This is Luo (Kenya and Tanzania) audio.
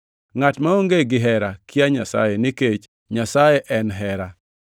Ngʼat maonge hera kia Nyasaye, nikech Nyasaye en hera.